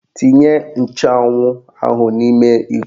Tinye nchụanwụ ahụ n'ime iko